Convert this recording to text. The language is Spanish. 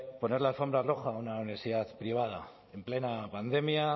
poner la alfombra roja a una universidad privada en plena pandemia